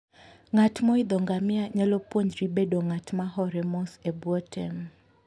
Ng'at moidho ngamia nyalo puonjri bedo ng'at ma hore mos e bwo tem.